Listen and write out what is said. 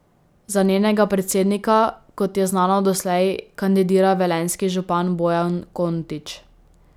Za njenega predsednika, kot je znano doslej, kandidira velenjski župan Bojan Kontič.